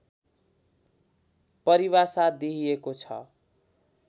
परिभाषा दिइएको छ